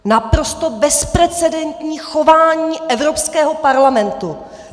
Naprosto bezprecedentní chování Evropského parlamentu!